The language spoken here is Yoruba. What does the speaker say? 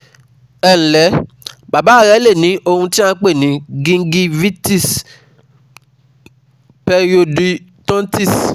Ẹ ǹlẹ́, Bàbá rẹ le ní ohun tí à ń pè ní Gingivitis Periodontitis